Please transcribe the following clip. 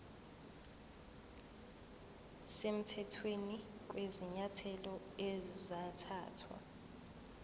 semthethweni kwezinyathelo ezathathwa